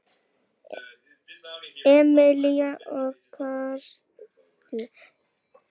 Emilía og Karl.